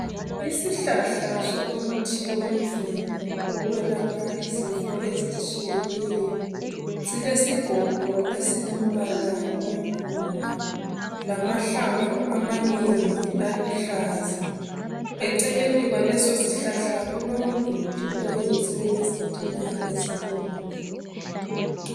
Isihlahla somuthi wemvelo wokwelapha izifo ezitshiyeneyo silesigodo esilombala ompunga lamahlamvu amanengi aluhlaza eceleni kwaleso sihlahla kulomduli oyenziwe ngezitina ezibomvu